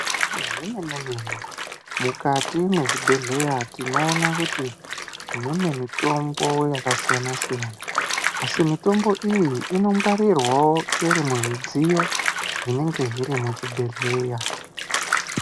Zvemene-mene mukati mwezvibhedhleya tinoona kuti mune mitombo yakasiyana-siyana. Asi mitombo iyi inongwarirwavo iri muzvidziyo zvinenge zviri muchibhedhleya.